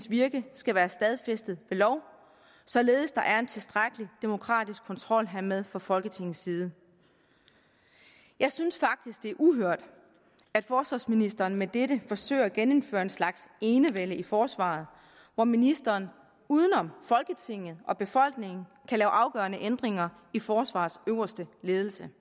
virke skal være stadfæstet ved lov således at der er en tilstrækkelig demokratisk kontrol hermed fra folketingets side jeg synes faktisk det er uhørt at forsvarsministeren med dette forsøger at genindføre en slags enevælde i forsvaret hvor ministeren uden om folketinget og befolkningen kan lave afgørende ændringer i forsvarets øverste ledelse